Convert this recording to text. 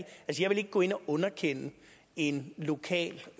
vil ikke gå ind og underkende en lokal